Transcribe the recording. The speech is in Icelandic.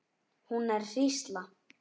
Hún er hrísla.